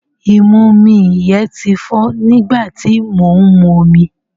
Ìmumi yẹn ti fọ́ nígbà tí mò ń momi.